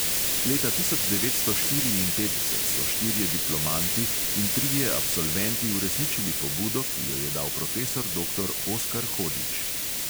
Leta tisoč devetsto štiriinpetdeset so štirje diplomanti in trije absolventi uresničili pobudo, ki jo je dal profesor doktor oskar hodžić.